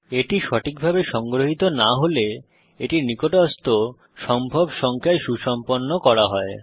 এটি সঠিকভাবে সংগ্রহিত না হলে এটি নিকটস্থ সম্ভব সংখ্যায় সুসম্পন্ন করা হয়